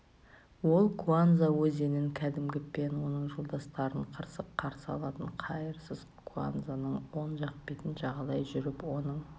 ол куанза өзенін кәдімгі пен оның жолдастарын қырсық қарсы алатын қайырсыз куанзаның оң жақ бетін жағалай жүріп оның